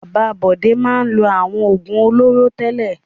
Bàbá Bọ̀dé máa ń lo àwọn òògùn olóró tẹ́lẹ̀.